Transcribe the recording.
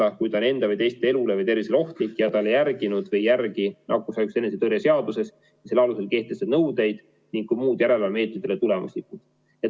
See on juhul, kui ta enda või teiste elu või tervis on ohustatud ja ta ei täida nakkushaiguste ennetamise ja tõrje seaduses olevaid ja selle alusel kehtestatud nõudeid ning muud järelevalvemeetmed ei ole olnud tulemuslikud.